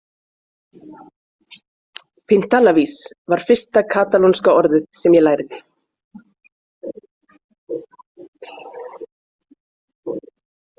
Pintallavis var fyrsta katalónska orðið sem ég lærði.